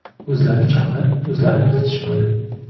O‘zlari chaqirib o‘zlari kiritishmadi.